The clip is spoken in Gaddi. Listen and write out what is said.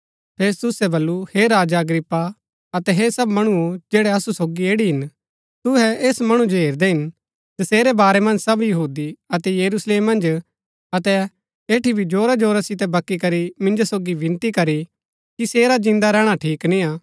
फेस्तुसै बल्लू हे राजा अग्रिप्पा अतै हे सब मणुओ जैड़ै असु सोगी ऐड़ी हिन तुहै ऐस मणु जो हेरदै हिन जसेरै बारै मन्ज सब यहूदी अतै यरूशलेम मन्ज अतै ऐठी भी जोरा जोरा सितै बकी करी मिन्जो सोगी विनती करी कि सेरा जिन्दा रैहणा ठीक निय्आ